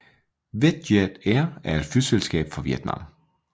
VietJet Air er et flyselskab fra Vietnam